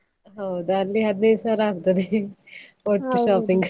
ಹೌದು ಅಲ್ಲಿ ಹದಿನೈದು ಸಾವಿರ ಆಗ್ತದೆ, ಒಟ್ಟು shopping .